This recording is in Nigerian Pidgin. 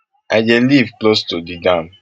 i dey live close to di dam